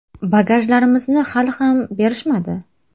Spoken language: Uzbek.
Bagajlarimizni hali ham berishmadi.